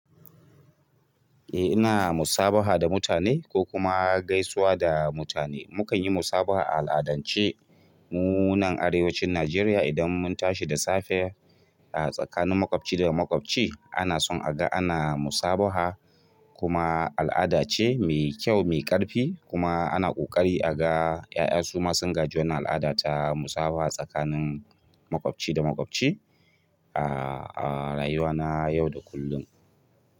Eh ina musabaha da mutane ko kuma gaisuwa da mutane. Mukan yi musabaha al'adance mu nan arewacin Najeriya idan mun tashi da safe a tsakanin maƙwabci da maƙwabci ana son aga ana musabaha kuma al'ada ce mai kyau mai ƙarfi kuma ana ƙoƙari aga ƴaƴa su ma sun gaji wannan al'ada ta musabaha tsakanin maƙwabci da maƙwabci a rayuwana yau da kullum.